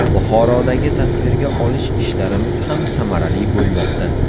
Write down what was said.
Buxorodagi tasvirga olish ishlarimiz ham samarali bo‘lmoqda.